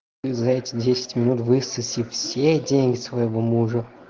и за эти десять минут высоси все деньги своего мужа